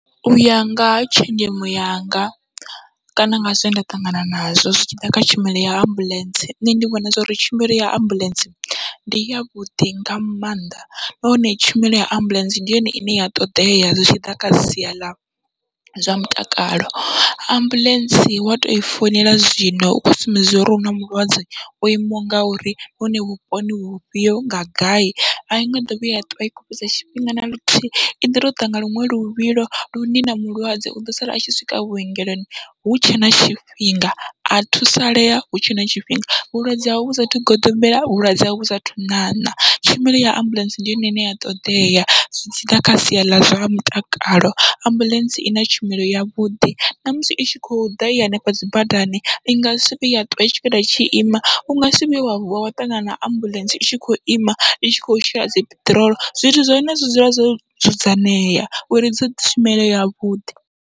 Uya nga tshenzhemo yanga kana nga zwenda ṱangana nazwo zwi tshiḓa kha tshumelo ya ambuḽentse, nṋe ndi vhona zwori tshumelo ya ambuḽentse ndi yavhuḓi nga maanḓa nahone tshumelo ya ambuḽentse ndi yone ine ya ṱoḓea zwi tshiḓa kha sia ḽa zwa mutakalo, ambuḽentse wa toi founela zwino u khou sumbedza uri u na mulwadze o imaho ngauri nahone vhuponi vhufhio nga gai, ainga ḓo vhuya ya ṱwa i khou fhedza tshifhinga naluthihi iḓo to ḓa nga luṅwe luvhilo lune na mulwadze uḓo sala atshi swika vhuongeloni hutshe na tshifhinga a thusalea hutshe na tshifhinga, vhulwadze hawe vhu sathu goḓombela vhulwadze hawe vhu sathu ṋaṋa. Tshumelo ya ambuḽentse ndi yone ine ya ṱoḓea zwi tshiḓa kha sia ḽa zwa mutakalo ambuḽentse ina tshumelo yavhuḓi, ṋamusi itshi kho ḓa i hanefha dzi badani ingasi vhuye ya ṱwa i tshi ima unga si vhuye wa vuwa wa ṱangana na ambuḽentse itshi kho ima i tshi kho shela dzi peṱirolo, zwithu zwa hone zwi dzula zwo dzudzanyea uri i ḓise tshumelo yavhuḓi.